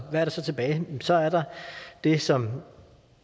er der så tilbage jamen så er der det som